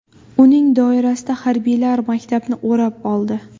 Uning doirasida harbiylar maktabni o‘rab oldi.